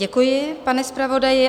Děkuji, pane zpravodaji.